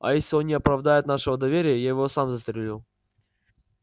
а если он не оправдает нашего доверия я его сам застрелю